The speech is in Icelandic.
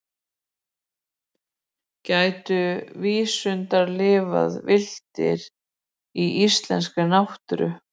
Gætu vísundar lifað villtir í íslenskri náttúru?